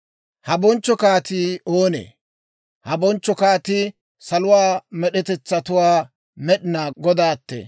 Ha bonchcho kaatii oonee? Ha bonchcho kaatii saluwaa med'etetsatuwaa Med'inaa Godaatee!